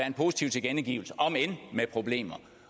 en positiv tilkendegivelse omend med problemer